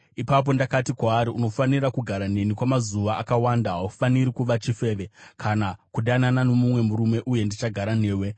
Ipapo ndakati kwaari, “Unofanira kugara neni kwamazuva akawanda; haufaniri kuva chifeve kana kudanana nomumwe murume, uye ndichagara newe.”